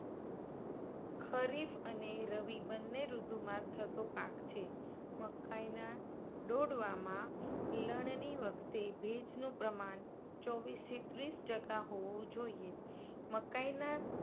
ખરીફ અને રવિ બન્ને ઋતુમાં થતો પાક છે. મકાઇના ડોડવામાં પિળાણની વખતે ભેજનું પ્રમાણ ચોવિસ થી ત્રીસ ટકા હોવું જોઇએ. મકાઇના